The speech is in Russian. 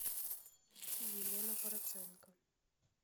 елена проценко